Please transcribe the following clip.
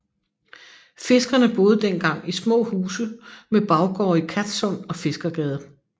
Fiskerne boede dengang i små huse med baggårde i Kattsund og Fiskergade